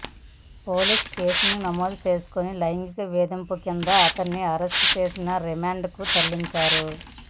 పోలీసులు కేసు నమోదు చేసుకొని లైంగిక వేధింపుల కింద అతడిని అరెస్టు చేసి రిమాండ్కు తరలించారు